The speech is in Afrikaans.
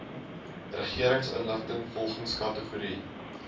regeringsinligting volgens kategorie